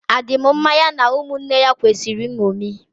A dị m mmá ya na ụmụnne ya kwesịrị nnomi